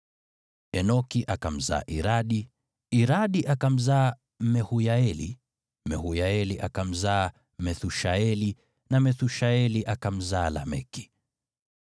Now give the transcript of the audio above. Enoki akamzaa Iradi, Iradi akamzaa Mehuyaeli, Mehuyaeli akamzaa Methushaeli, na Methushaeli akamzaa Lameki.